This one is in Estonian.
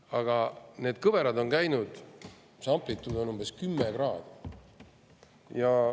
Aga need kõverad on amplituudiga umbes 10 kraadi.